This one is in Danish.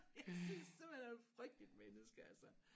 Jeg synes simpelthen han er et frygteligt menneske altså